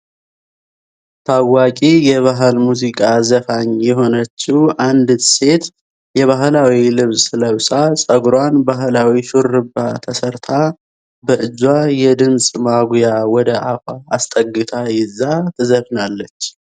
ታዋቂ የባህል ሙዚቃ ዘፋኝ የሆነች አንዲት ሴት የባህላዊ ልብስ ለብሳ ጸጉሯን ባህላዊ ሹሩባ ተሰርታ በእጇ የድምጽ ማጉያ ወደ አፏ አስጠግታ ይዛ ትዘፍናለች።